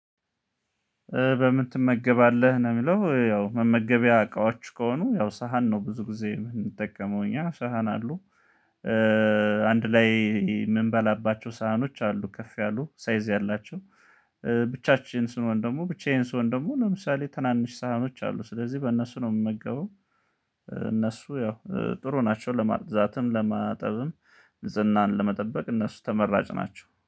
በምን ትመገባለህ ነው? የሚለው ያው መመገቢያ አቃዋች ከሆኑ ያው ሳህን ነው ብዙ ጊዜ የምንጠቀመው እኛ ሳህን አሉ። አንድ ላይ የምንበላባቸው ሳህኖች አሉ ከፍ ያሉ ሳይዝ ያላቸው። ብቻችን ስንሆን ደግሞ ብቻዬን ስሆን ደግሞ ለምሳሌ ትናንሽ ሳህኖች አሉ ስለዚህ በእነሱ ነው የምመገበው። እነሱ ያው ጥሩ ናቸው። ለማጽዳትም ለማጠብም ዝናን ለመጠበቅ እነሱ ተመራጭ ናቸው